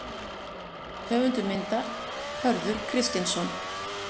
Höfundur myndar: Hörður Kristinsson.